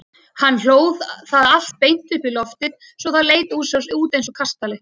Hann hlóð það allt beint upp í loftið svo það leit út eins og kastali.